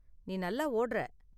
நீ நல்லா ஓடுற.